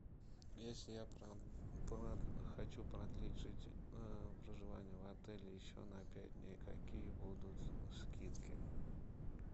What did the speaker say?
если я хочу продлить проживание в отеле еще на пять дней какие будут скидки